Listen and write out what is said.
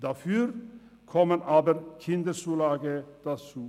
Dafür kommen aber Kinderzulagen hinzu.